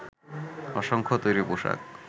অসংখ্য তৈরি পোশাক